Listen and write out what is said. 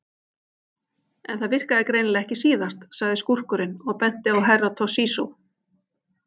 En það virkaði greinilega ekki síðast, sagði skúrkurinn og benti á Herra Toshizo.